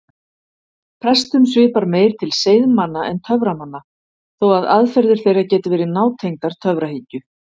Prestum svipar meir til seiðmanna en töframanna þó að aðferðir þeirra geti verið nátengdar töfrahyggju.